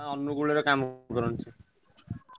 ହଁ ଅନୁଗୋଳ ରେ କାମ କରନ୍ତି ସେ।